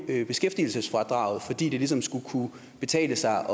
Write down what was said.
beskæftigelsesfradraget fordi det ligesom skulle kunne betale sig